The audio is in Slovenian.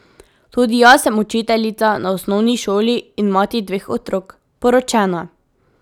Tudi jaz sem učiteljica na osnovni šoli in mati dveh otrok, poročena.